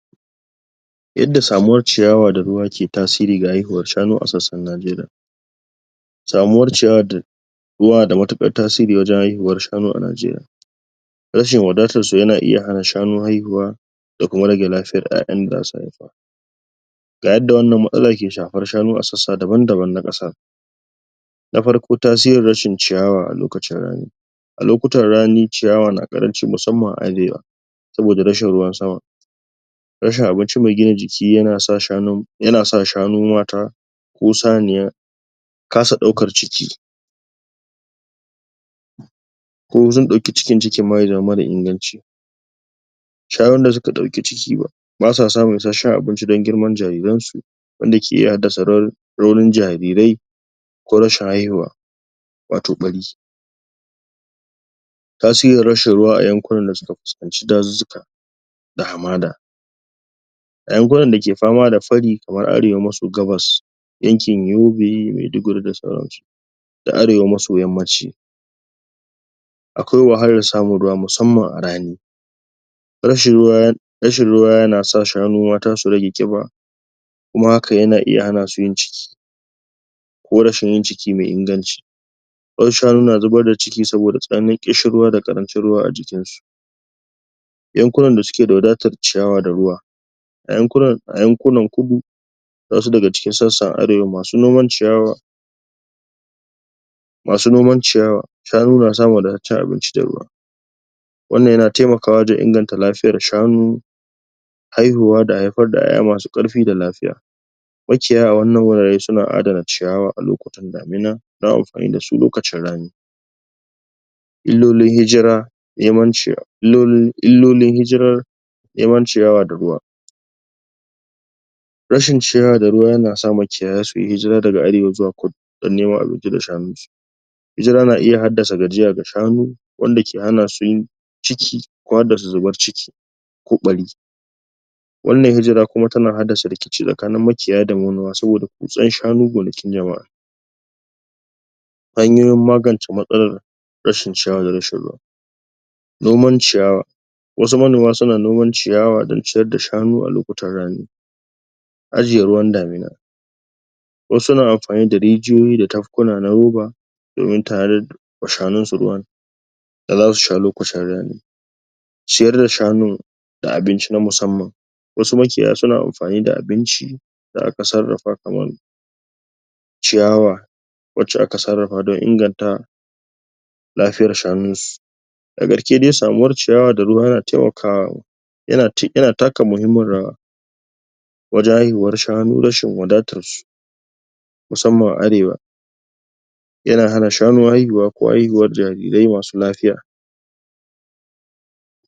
inda samuwar ciyawa da ruwa ke tasiri ga haihuwar shanu a sassan Najeriya samuwar ciyawa da ruwa da mutuƙar tasiri wajan haihuwar shanu a Najeriya rashin wadatarsu yana iya hana shanu haihuwa da kuma rage lafiyar ƴaƴan da zasu haifa ga yanda wannan matsalar ke shafan shanu a sassan daban-daban na ƙasa na farko tasirin rashin ciyawa a lokacin rani a lokutan rani, ciyawa na ƙaranci musamman a arewa saboda rashin ruwan sama rashin abinci mai gina jiki yana sa shanu mata ko saniya kasa ɗaukar ciki ko sun ɗauki ciki, cikin ma ya zama mara inganci shanun da suka ɗauki ciki ba ,ba suwa samun ishashen abinci dan girman jariransu wandake yada sarar nauyin jarirai ko rashin haihuwa watau ɓari tasirin rashin ruwa a yankunan da suka fiskanci dazuzuka da hamada a yankunan dake fama da fari kamar arewa maso gabas yankin Yobe, Maiduguri da sauransu da arewa maso yammanci akwai wahalar samu ruwa musamman a rani rashin ruwa yanasa shanu mata su rage ƙiba kuma haka yana iya hanasu yin ciki ko rashin yin ciki mai inganci wasu shanu na zubar da ciki soboda tsananin kishin ruwa da karancin ruwa a jikin su yankunan da sukeda wadatar ciyawa da ruwa a yankunnan kudu wasu daga cikin sassan arewa masu noman ciyawa masu noman ciyawa, shanu na samu wadatacen abinci da ruwa wannan yana taimakawa wajan inganta lafiyar shanu haihuwa, da haifar da ƴaƴa masu ƙarfi da lafiya maciya a wannan wuraren suna adana ciyawa a lokutan damina dan yi amfani dasu lokacin rani illolin hijirar neman ciyawa da ruwa rashin ciyawa da ruwa yana sa maciyaya su yi hijira daga arewa zuwa kudu dan neman abinci da shanu hijira na iya haddasa gajiya ga shanu wanda ke hanasu yin ciki, ko haddasa zubar ciki ko ɓari wannan hijira kuma tana haddasa rikici tsakanin maƙiya da manoma saboda ƙunsan shanu gonakin jama'a hanyoyin magance matsalar rashin sha da rashin ruwa noman ciyawa wasu manoma suna noman ciyawa dan ciyar da shanu a lokutan rani ajiye ruwan damuna wasu na amfani da rijiyoyi da tafkuna na roba domin tarin tsakanin su ruwan da zasu sha lokutan rani ciyar da shanu da abinci na musamman wasu makiya suna amfani da abinci da aka sarrafa kamar ciyawa wacca aka sarrafa dan inganta lafiyar shanun su a garke dai samuwar ciyawa da ruwa yana taimaka yana taka muhimmin rawa wajan haihuwar shanu, rashin wadatarsu musamman a arewa yana hana shanu haihuwa, ko haihuwar jarirai masu lafiya